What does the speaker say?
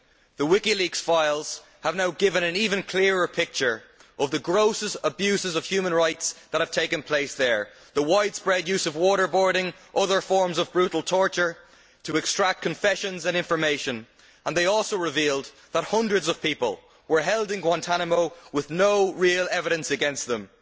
The WikiLeaks files have now given an even clearer picture of the grossest abuses of human rights that have taken place there the widespread use of waterboarding, other forms of brutal torture to extract confessions and information and they also revealed that hundreds of people were held in Guantánamo with no real evidence against them.